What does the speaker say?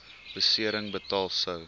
besering betaal sou